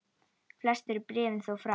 Flest eru bréfin þó frá